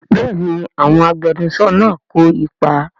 Bẹ́ẹ̀ni àwọn agbẹnusọ náà kò ipa